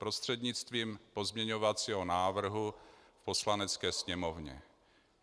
Prostřednictvím pozměňovacího návrhu v Poslanecké sněmovně.